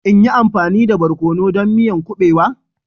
In yi amfani da barkono don miyan kuɓewa?